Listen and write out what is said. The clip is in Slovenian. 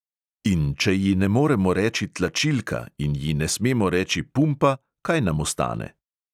In če ji ne moremo reči tlačilka in ji ne smemo reči pumpa, kaj nam ostane?